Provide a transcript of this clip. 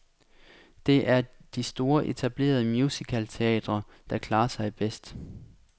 Det de store etablerede musicalteatre, der klarer sig bedst.